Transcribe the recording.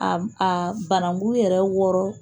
a a banangu yɛrɛ wɔrɔ.